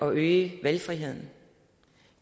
øge valgfriheden